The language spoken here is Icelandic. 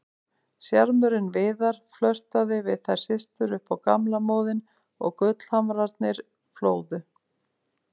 Sjarmörinn Viðar, flörtaði við þær systur upp á gamla móðinn og gullhamrarnir flóðu.